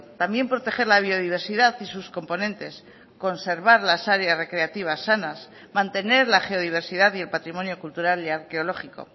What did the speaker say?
también proteger la biodiversidad y sus componentes conservar las áreas recreativas sanas mantener la geodiversidad y el patrimonio cultural y arqueológico